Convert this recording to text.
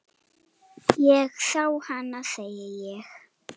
Ég sá hana, segi ég.